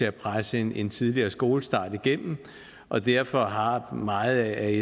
at presse en en tidligere skolestart igennem og derfor har meget af